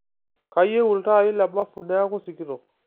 kayieu iltaai lembafu neeku sikitok